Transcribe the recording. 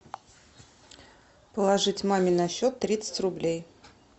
положить маме на счет тридцать рублей